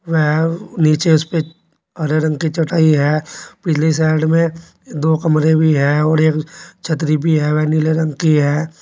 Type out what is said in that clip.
वह नीचे उस पे हरे रंग की चटाई है पिछली साइड में दो कमरे भी है और एक छतरी भी है वह नीले रंग की है।